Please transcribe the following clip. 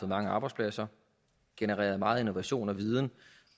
mange arbejdspladser genereret meget innovation og viden